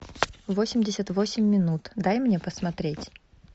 восемьдесят восемь минут дай мне посмотреть